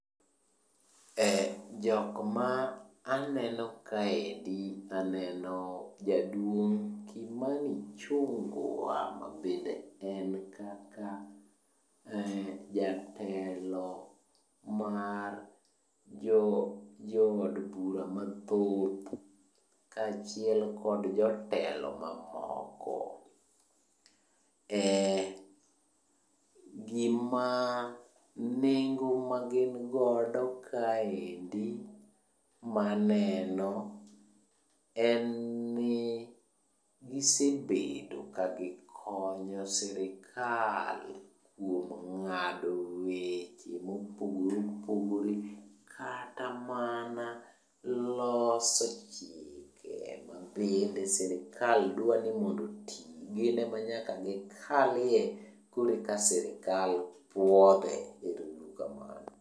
Jok ma aneno kaendi aneno jaduong' Kimani Ichungwa mabende en kaka jatelo mar jood bura mathoth kaachiel kod jotelo mamoko. Gima nengo magin godo kaendi maneno en ni gisebedo ka gikonyo sirikal kuom ng'ado weche mopogore opogore, kata mana loso chike mabende sirikal dwa ni mondo oti. Gin ema nyaka gikalie koreka sirikal puothe. Ero uru kamano.